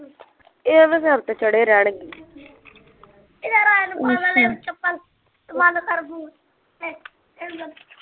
ਇਹ ਐਵੇਂ ਸਿਰ ਤੇ ਚੜ੍ਹੇ ਰਹਿਣਗੇ